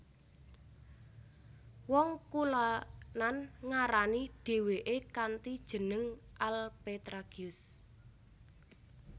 Wong kulonan ngarani dheweke kanthi jeneng Alpetragius